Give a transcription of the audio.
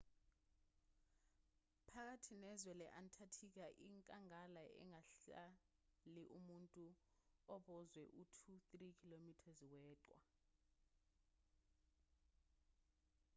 phakathi nezwe le-antarctica inkangala engahlali muntu embozwe u-2-3 km weqhwa